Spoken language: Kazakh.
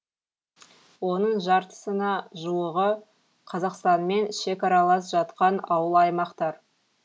оның жартысына жуығы қазақстанмен шекаралас жатқан ауыл аймақтар